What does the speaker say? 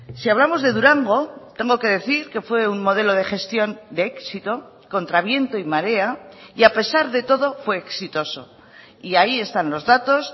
si hablamos de durango tengo que decir que fue un modelo de gestión de éxito contra viento y marea y a pesar de todo fue exitoso y ahí están los datos